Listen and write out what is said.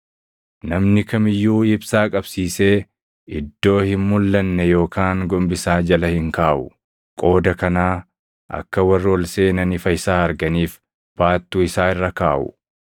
“Namni kam iyyuu ibsaa qabsiisee iddoo hin mulʼanne yookaan gombisaa jala hin kaaʼu. Qooda kanaa akka warri ol seenan ifa isaa arganiif baattuu isaa irra kaaʼu.